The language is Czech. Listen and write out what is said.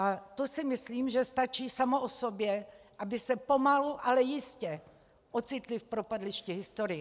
A to si myslím, že stačí samo o sobě, aby se pomalu, ale jistě ocitli v propadlišti historie.